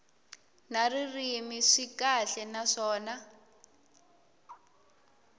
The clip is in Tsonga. na ririmi swi kahle naswona